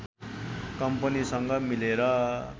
कम्पनीसँग मिलेर